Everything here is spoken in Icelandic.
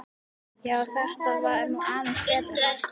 Já, þetta var nú aðeins betra, ha!